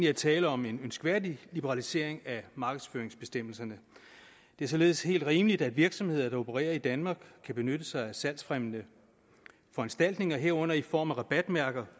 er tale om en ønskværdig liberalisering af markedsføringsbestemmelserne det er således helt rimeligt at virksomheder der opererer i danmark kan benytte sig af salgsfremmende foranstaltninger herunder i form af rabatmærker